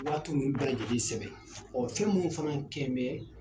Waati ninnu bɛɛ lajɛlen sɛbɛn ɔ fɛn minnu fana kɛ n bɛ